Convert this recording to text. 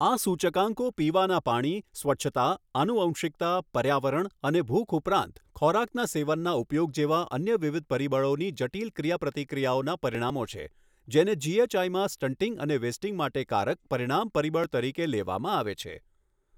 આ સૂચકાંકો પીવાનાં પાણી, સ્વચ્છતા, આનુવંશિકતા, પર્યાવરણ અને ભૂખ ઉપરાંત ખોરાકના સેવનના ઉપયોગ જેવા અન્ય વિવિધ પરિબળોની જટિલ ક્રિયાપ્રતિક્રિયાઓનાં પરિણામો છે, જેને જીએચઆઇમાં સ્ટંટિંગ અને વેસ્ટિંગ માટે કારક પરિણામ પરિબળ તરીકે લેવામાં આવે છે.